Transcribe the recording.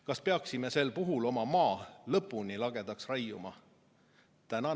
Kas peaksime sel puhul oma maa lõpuni lagedaks raiuma?